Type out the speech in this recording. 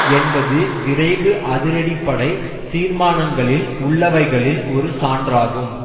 என்பது விரைவு அதிரடிப்படை தீர்மானங்களில் உள்ளவைகளில் ஒரு சான்றாகும்